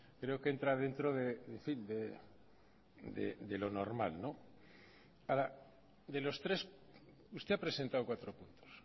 creo que entra dentro de lo normal ahora de los tres usted ha presentado cuatro puntos